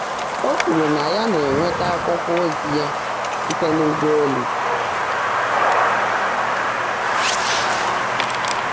Ó kwùrú ná yá ná-énwétá ákwụ́kwọ́ ózí yá síte n’ụ́gbọ́élu.